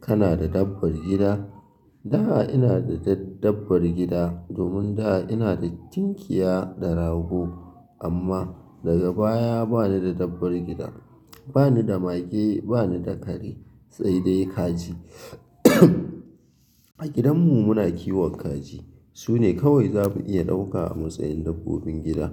Kana da dabbar gida? Da ina da da dabbar gida, domin da ina da cinƙiya da rago. Amma daga baya bani da dabbar gida, bani da mage, bani da kare, sai dai kaji. A gidanmu muna kiwon kaji sune kawai za mu iya ɗauka a matsayin dabbobin gida.